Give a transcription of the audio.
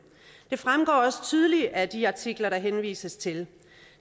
det fremgår også tydeligt af de artikler der henvises til